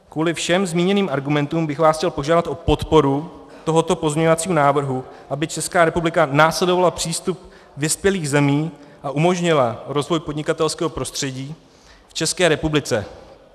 Kvůli všem zmíněným argumentům bych vás chtěl požádat o podporu tohoto pozměňovacího návrhu, aby Česká republika následovala přístup vyspělých zemí a umožnila rozvoj podnikatelského prostředí v České republice.